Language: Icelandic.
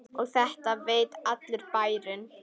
Og þetta veit allur bærinn?